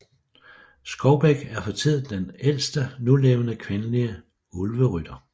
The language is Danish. Skovbæk er for tiden den ældste nulevende kvindelige Ulverytter